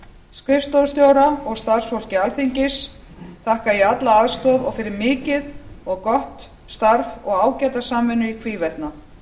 skrifstofustjóra og starfsfólki alþingis þakka ég alla aðstoð og fyrir mikið og gott starf og ágæta samvinnu í hvívetna